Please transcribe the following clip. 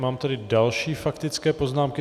Mám tady další faktické poznámky.